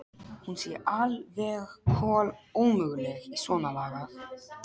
Hún sé al- veg kol- ómöguleg í svonalagað.